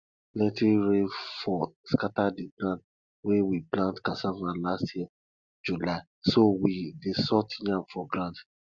plenty rain fall scatter di ground wey we plant cassava last year july so we dey sort yam for ground